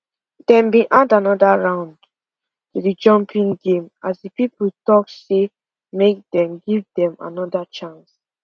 dem been add another round to the jumping game as people dey talk say make dem give dem another chance